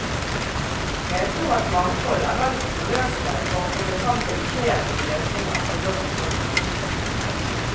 Men jeg tror at mangfold er vel så forløsende for å komme frem til de kreative løsninger på norsk sokkel.